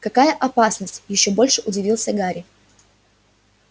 какая опасность ещё больше удивился гарри